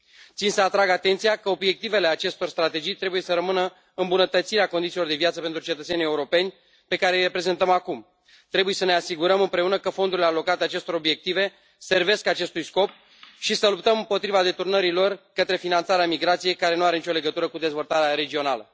Țin să atrag atenția că obiectivele acestor strategii trebuie să rămână îmbunătățirea condițiilor de viață pentru cetățenii europeni, pe care îi reprezentăm acum. Trebuie să ne asigurăm împreună că fondurile alocate acestor obiective servesc acestui scop și să luptăm împotriva deturnării lor către finanțarea migrației, care nu are nicio legătură cu dezvoltarea regională.